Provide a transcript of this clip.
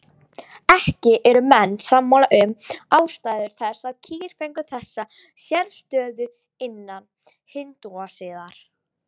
Ekki eru menn sammála um ástæður þess að kýr fengu þessa sérstöðu innan hindúasiðar.